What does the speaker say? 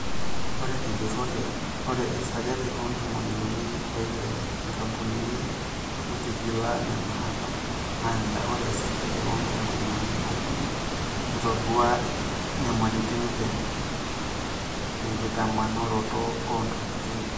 ore tejurore, ore esajati oontomon unii o ile oonkampunini netigila nena apa naanyita oree esajati oontomon unii okunii netodua nyamalitin tenkitamanoroto oontokitin.